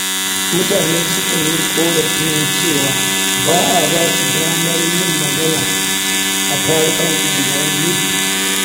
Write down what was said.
Mutane sukan yi ƙorafin cewa ba a ba su damar yin magana a tarukan unguwanni.